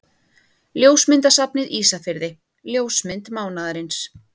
Ljósmyndasafnið Ísafirði Ljósmynd mánaðarins.